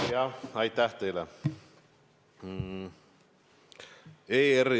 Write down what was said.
Jah, aitäh teile!